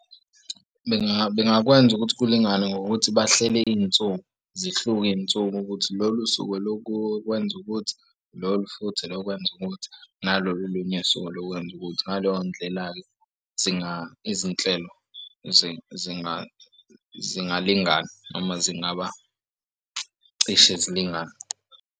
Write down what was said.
Bengakwenza ukuthi kulingane ngokuthi bahlele iy'nsuku zihluke iy'nsuku ukuthi lolu suku olokwenza ukuthi lolu futhi olokwenza ukuthi nalolu olunye usuku olokwenza ukuthi ngaleyo ndlela-ke izinhlelo zingalingana noma zingaba cishe zilingane.